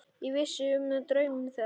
Ég vissi um draum þeirra.